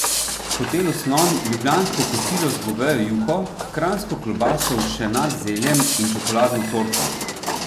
V Hotelu Slon ljubljansko kosilo z govejo juho, kranjsko klobaso z všenat zeljem in čokoladno torto.